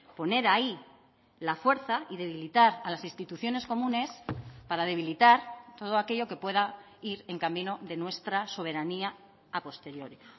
poner ahí la fuerza y debilitar a las instituciones comunes para debilitar todo aquello que pueda ir en camino de nuestra soberanía a posteriori